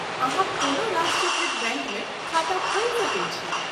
अहाँ कोनो राष्ट्रीयकृत बैङ्कमे खाता खोलि सकैत छी।